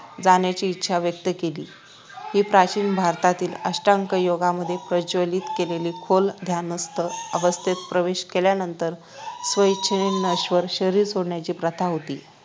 जाण्याची इच्छा व्यक्त केली ही प्राचीन भारतातील अष्टांग योगामध्ये प्रचलित केलेली खोल ध्यानस्थ अवस्थेत प्रवेश केल्यानंतर स्वेच्छेने नश्वर शरीर सोडण्याची प्रथा होती